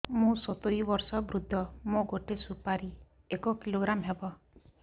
ମୁଁ ସତୂରୀ ବର୍ଷ ବୃଦ୍ଧ ମୋ ଗୋଟେ ସୁପାରି ଏକ କିଲୋଗ୍ରାମ ହେବ